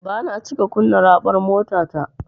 Bana cika kunna raɓar motata.